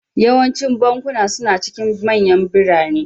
Yawancin bankunan suna cikin manyan birane